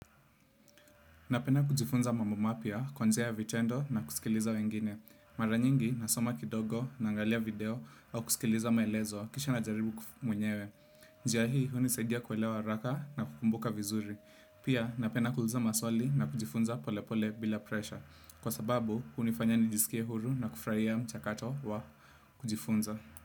Napenda kujifunza mambo mapya, kuanzia vitendo na kusikiliza wengine. Mara nyingi nasoma kidogo naangalia video au kusikiliza maelezo kisha najaribu ku mwenyewe. Njia hii hunisaidia kuelewa haraka na kukumbuka vizuri. Pia napenda kuuliza maswali na kujifunza polepole bila presha. Kwa sababu hunifanya nijisikie huru na kufurahia mchakato wa kujifunza.